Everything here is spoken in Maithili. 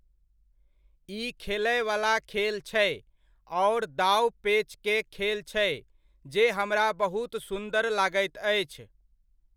ई खेलयवला खेल छै, आओर दाँव पैञ्चके खेल छै जे हमरा बहुत सुन्दर लागैत अछि।